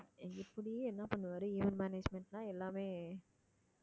இப்படியே என்ன பண்ணுவாரு event management னா எல்லாமே